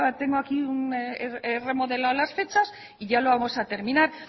tengo aquí he remodelado las fechas y ya lo vamos a terminar